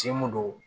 Si mun don